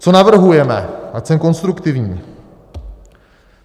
Co navrhujeme, ať jsem konstruktivní.